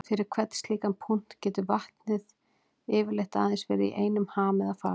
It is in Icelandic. Fyrir hvern slíkan punkt getur vatnið getur yfirleitt aðeins verið í einum ham eða fasa.